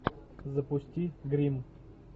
запусти гримм